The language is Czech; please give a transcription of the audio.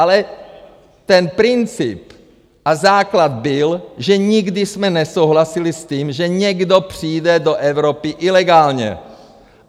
Ale ten princip a základ byl, že nikdy jsme nesouhlasili s tím, že někdo přijde do Evropy ilegálně.